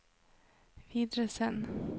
videresend